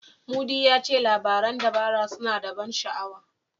Mudi ya ce labaran dabara suna da ban sha'awa.